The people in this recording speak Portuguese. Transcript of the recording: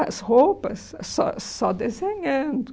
as roupas, só só desenhando.